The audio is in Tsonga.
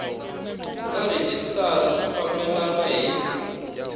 na rhejisitara swi fambelena hi